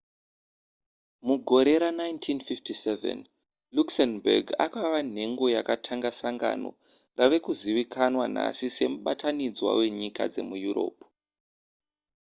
mugore ra1957 luxembourg akava nhengo yakatanga sangano rave kuzivikanwa nhasi semubatanidzwa wenyika dzemuyuropu